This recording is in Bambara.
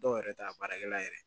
Dɔw yɛrɛ ta baarakɛla yɛrɛ